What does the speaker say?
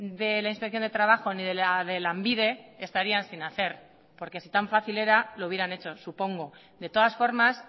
de la inspección de trabajo ni de la de lanbide estarían sin hacer porque si tan fácil era lo hubieran hecho supongo de todas formas